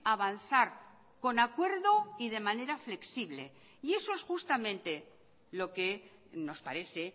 avanzar con acuerdo y de manera flexible y eso es justamente lo que nos parece